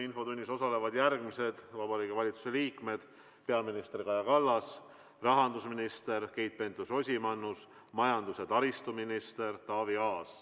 Infotunnis osalevad järgmised Vabariigi Valitsuse liikmed: peaminister Kaja Kallas, rahandusminister Keit Pentus-Rosimannus ning majandus- ja taristuminister Taavi Aas.